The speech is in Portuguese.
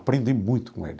Aprendi muito com ele.